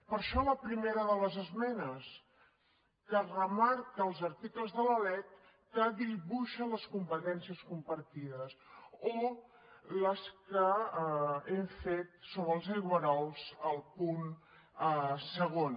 per això la primera de les esmenes que remarca els articles de la lec que dibuixa les competències compartides o les que hem fet sobre els aigüerols al punt segon